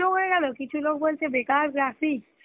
হয়ে গেল কিছু লোক বলছে বেকার graphics